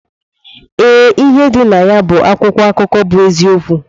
Ee, ịhe dị nayabu akwụkwọ akụkọ bụ eziokwu.